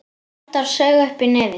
Halldór saug upp í nefið.